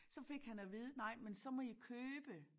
Så fik han at vide nej men så må i købe